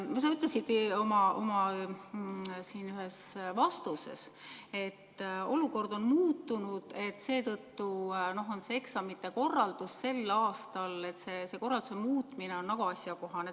Sa ütlesid ühes oma vastuses, et olukord on muutunud ja seetõttu on eksamite tegemise korralduse muutmine väga asjakohane.